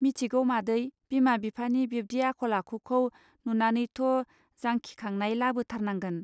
मिथिगौ मादै बिमा बिफानि बिब्दि आखल आखुखौ नुनानैनोथजांखिखांनाय लाबोथारनांगोन.